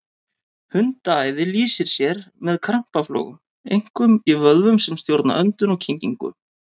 Hundaæði lýsir sér með krampaflogum, einkum í vöðvum sem stjórna öndun og kyngingu.